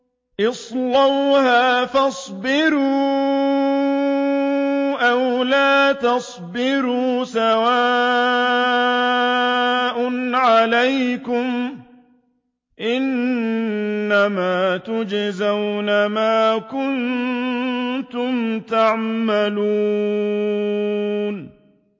اصْلَوْهَا فَاصْبِرُوا أَوْ لَا تَصْبِرُوا سَوَاءٌ عَلَيْكُمْ ۖ إِنَّمَا تُجْزَوْنَ مَا كُنتُمْ تَعْمَلُونَ